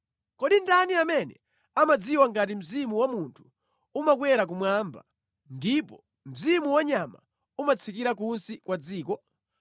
Kodi ndani amene amadziwa ngati mzimu wa munthu umakwera kumwamba, ndipo mzimu wa nyama umatsikira kunsi kwa dziko?”